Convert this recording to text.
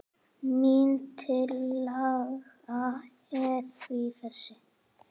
Mín tillaga er því þessi